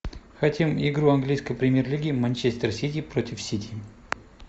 хотим игру английской премьер лиги манчестер сити против сити